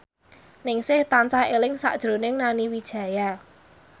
Ningsih tansah eling sakjroning Nani Wijaya